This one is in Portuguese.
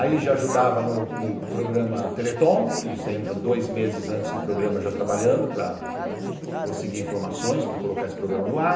Aí já ajudava no programa Teleton, que você entra dois meses antes do programa já trabalhando para conseguir informações, para colocar esse programa no ar.